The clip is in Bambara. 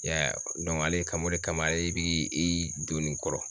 I y'a ye ale kan o de kama ale bi i don nin kɔrɔ.